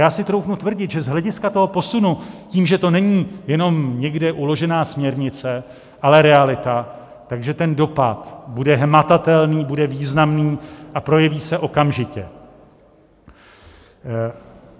Já si troufnu tvrdit, že z hlediska toho posunu tím, že to není jenom někde uložená směrnice, ale realita, tak ten dopad bude hmatatelný, bude významný a projeví se okamžitě.